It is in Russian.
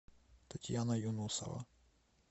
татьяна юнусова